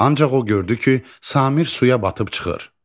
Ancaq o gördü ki, Samir suya batıb çıxır.